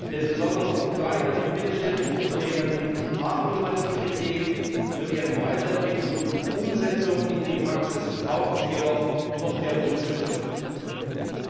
Denn besonders die kleinen und mittelständischen Unternehmen haben innovative Ideen, für deren Weiterentwicklung und Umsetzung in die Praxis sie jedoch noch mehr Unterstützung brauchen.